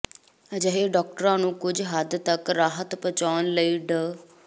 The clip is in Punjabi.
ਅਜਿਹੇ ਡਾਕਟਰਾਂ ਨੂੰ ਕੁੱਝ ਹੱਦ ਤੱਕ ਰਾਹਤ ਪਹੁੰਚਾਉਣ ਲਈ ਡਾ